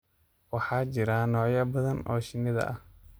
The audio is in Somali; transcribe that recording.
Waxaa jira noocyo badan oo shinni ah.